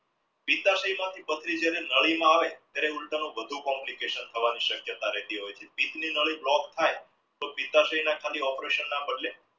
પથરી જ્યારે નળીમાં હોય ત્યારે ઊલટાનું વધુ complication શક્યતા રહેતી હોય છે. નાડી block થાય operation ના બદલે